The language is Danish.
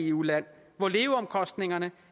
eu land hvor leveomkostningerne